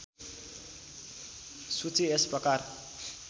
सूची यस प्रकार